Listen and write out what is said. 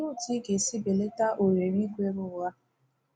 Ka otu ị ga-esi belata ohere ikwere ụgha?